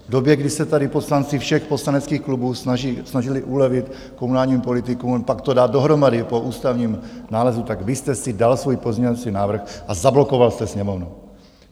V době, kdy se tady poslanci všech poslaneckých klubů snažili ulevit komunálním politikům, pak to dát dohromady po ústavním nálezu, tak vy jste si dal svůj pozměňovací návrh a zablokoval jste Sněmovnu.